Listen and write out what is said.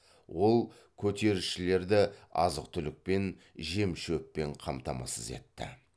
ол көтерілісшілерді азық түлікпен жемшөппен қамтамасыз етті